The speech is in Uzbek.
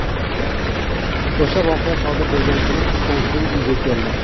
O‘sha voqea sodir bo‘lgan kuni tushdan so‘ng uyga keldim.